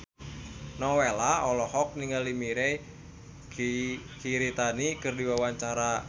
Nowela olohok ningali Mirei Kiritani keur diwawancara